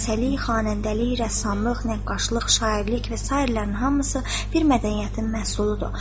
Rəqqasəlik, xanəndəlik, rəssamlıq, nəqqaşlıq, şairlik və sairələrin hamısı bir mədəniyyətin məhsuludur.